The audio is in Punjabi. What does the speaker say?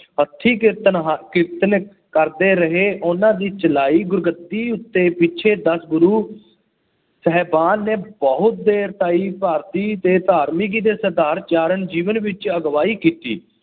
ਹੱਥੀ ਕਿਰਤ ਹ ਕਿਰਤ ਕਰਦੇ ਰਹੇ ਉਹਨਾ ਦੀ ਚਲਾਈ ਗੁਰਗੱਦੀ ਉੱਤੇ ਪਿੱਛੇ ਦਸ ਗੁਰੂ ਸਾਹਿਬਾਨ ਨੇ ਬਹੁਤ ਦੇਰ ਤਾਈ ਭਾਰਤੀ ਦੇ ਧਾਰਮਿਕ ਤੇ ਸਦਾਚਾਰਕ ਜੀਵਨ ਵਿੱਚ ਅਗਵਾਈ ਕੀਤੀ।